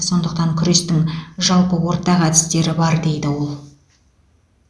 сондықтан күрестің жалпы ортақ әдістері бар дейді ол